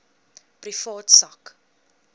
privaat sak